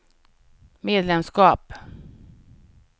medlemskap